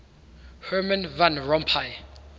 herman van rompuy